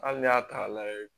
Hali n'i y'a ta k'a lajɛ